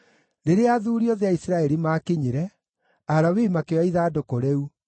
Rĩrĩa athuuri othe a Isiraeli maakinyire, Alawii makĩoya ithandũkũ rĩu,